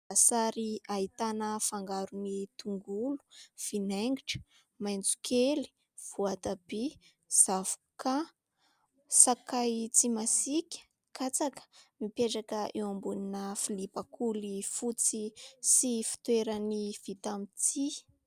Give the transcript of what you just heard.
Sary ahitana fangaron' ny tongolo, vinaigitra, maitso kely voatabia, zavoka, sakay tsy masika, katsaka mipetraka eo ambonina vilia bakoly fotsy sy fitoeran'ny vita mitsihy.